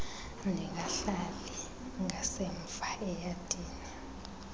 ndingahlali ngasemva eyadini